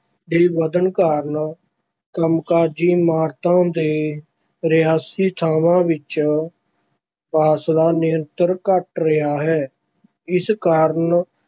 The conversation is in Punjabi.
ਦੇ ਵਧਣ ਕਾਰਨ ਕੰਮਕਾਜੀ ਇਮਾਰਤਾਂ ਤੇ ਰਿਹਾਇਸ਼ੀ ਥਾਵਾਂ ਵਿੱਚ ਫਾਸਲਾ ਨਿਰੰਤਰ ਘੱਟ ਰਿਹਾ ਹੈ, ਇਸ ਕਾਰਨ